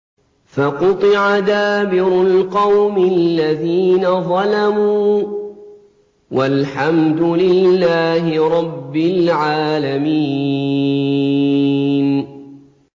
فَقُطِعَ دَابِرُ الْقَوْمِ الَّذِينَ ظَلَمُوا ۚ وَالْحَمْدُ لِلَّهِ رَبِّ الْعَالَمِينَ